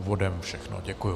Úvodem všechno, děkuji.